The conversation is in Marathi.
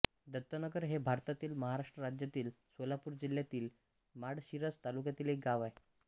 दत्तनगर हे भारतातील महाराष्ट्र राज्यातील सोलापूर जिल्ह्यातील माळशिरस तालुक्यातील एक गाव आहे